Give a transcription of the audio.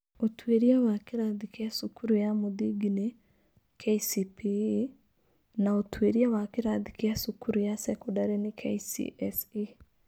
Ũtuĩria wa kĩrathi kĩa cukuru ya mũthingi nĩ (KCPE) na Ũtuĩria wa kĩrathi kĩa cukuru ya sekondarĩ nĩ (KCSE)